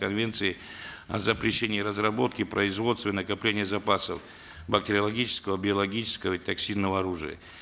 конвенции о запрещении и разработке производстве и накоплении запасов бактериологического биологического и токсинного оружия